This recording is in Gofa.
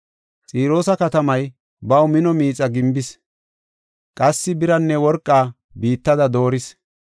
Xiroosa katamay baw mino miixa gimbis. Qassi biraanne worqaa biittada dooris.